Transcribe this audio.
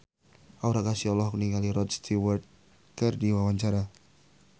Aura Kasih olohok ningali Rod Stewart keur diwawancara